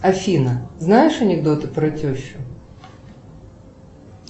афина знаешь анекдоты про тещу